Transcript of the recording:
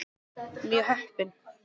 Mjög heppin.